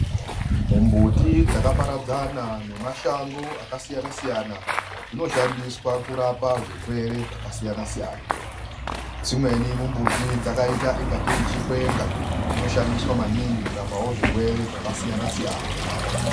MIMBUTI DZAKAPARADZANA NEMASHANGO AKASIYANA SIYANA ZVINOSHANDISWA KURAPA ZVIRWERE ZVAKASIYANA-SIYANA. DZIMWENI MIMBUTI DZAKAITA SECHIKWENGA DZINOSHANDISWA MANINGI KURAPA ZVIRWERE ZVAKASIYANA SIYANA.